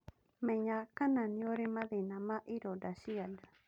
Menya kana nĩurĩ mathĩna ma ironda cia nda